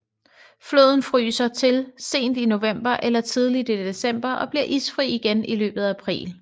Floden fryser til sent i november eller tidlig i december og bliver isfri igen i løbet af april